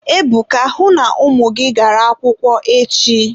Ebuka, hụ na ụmụ gị gara akwụkwọ echi.